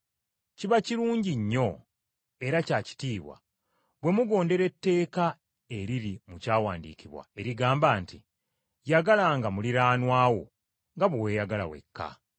Kiba kirungi nnyo era kya kitiibwa bwe mugondera etteeka eriri mu Kyawandiikibwa erigamba nti, “Yagalanga muliraanwa wo nga bwe weeyagala wekka.”